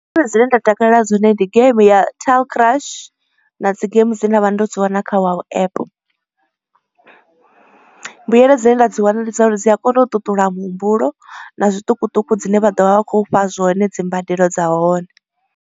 Ndi dzone dzine nda takalela dzone ndi game ya tall crush na dzi game dze nda vha ndo dzi wana kha wow app. Mbuyelo dzine nda dzi wana ndi dza uri dzi a kona u ṱuṱula muhumbulo, na zwiṱukuṱuku dzine vha ḓo vha vha khou fha zwone dzimbadelo dza hone.